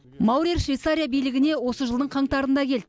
маурер швейцария билігіне осы жылдың қаңтарында келді